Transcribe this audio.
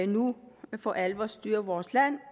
nu for alvor styrer vores land